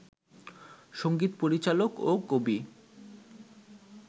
সংগীত পরিচালক ও কবি